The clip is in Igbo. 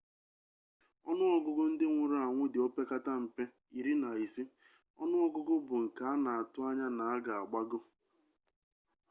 onu ogugu ndi nwuru-anwu di opekata-mpe 15 onu ogugu bu nke ana atu-anya na oga agbago